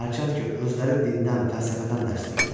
Hərçənd ki, özləri dindən, fəlsəfədən dərs deyirlər.